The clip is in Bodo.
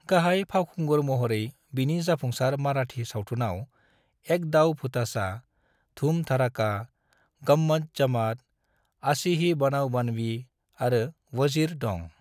गाहाय फावखुंगुर महरै बिनि जाफुंसार माराठी सावथुनआव एक दाव भूटाचा, धूम धड़ाका, गम्मत जमात, आशी ही बनाव बनवी आरो वज़ीर दं।